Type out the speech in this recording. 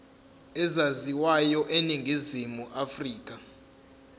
ezaziwayo eningizimu afrika